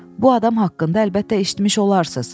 Bu adam haqqında əlbəttə eşitmiş olarsız.